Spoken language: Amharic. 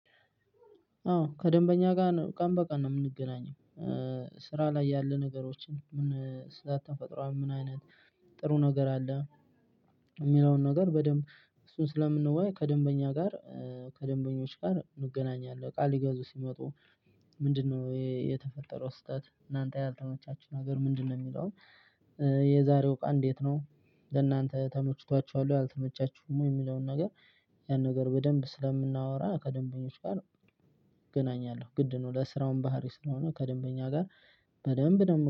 አዎ ከደንበኛ ጋር ቀን በቀን ነው የምንገናኘው ስራ ላይ ያሉ ነገሮችን፤ ምን ስለ ተፈጥሮ አሁን ምን አይነት ጥሩ ነገር አለ። የሚለውን ነገር በደንብ እሱን ስለምንወያይ ከደንበኛ ጋር ከደንበኞች ጋር እንገናኛለን። እቃ ሊገዙ ሲመጡ ምንድነው የተፈጠረው ስህተት? እናንተ ያልተመቻችሁ ነገር ምንድነው? የሚለውን የዛሬው እቃ እንዴት ነው? ለእናንተ ተመችቷችኋል ወይ? አልተመቻችሁም ወይ? የሚለውን ነገር ያን ነገር በደንብ ስለምናወራ ከደንበኞች ጋር እገናኛለሁ። ግድ ነው ለስራውም ባህሪ ስለሆነ ከደንበኛ ጋር በደንብ ነው